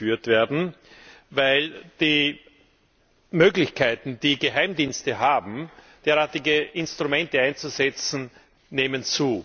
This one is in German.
Sie muss geführt werden, weil die Möglichkeiten, die Geheimdienste haben, um derartige Instrumente einzusetzen, zunehmen.